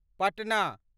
Patna